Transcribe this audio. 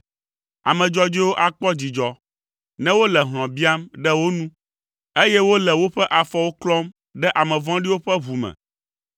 Ame dzɔdzɔewo akpɔ dzidzɔ, ne wole hlɔ̃ biam ɖe wo nu, eye wole woƒe afɔwo klɔm ɖe ame vɔ̃ɖiwo ƒe ʋu me.